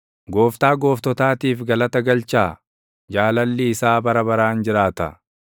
Gooftaa Gooftotaatiif galata galchaa: Jaalalli isaa bara baraan jiraata.